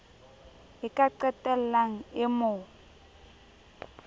e ka qetellang e mo